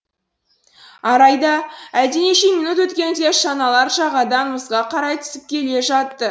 арайда әлденеше минут өткенде шаналар жағадан мұзға қарай түсіп келе жатты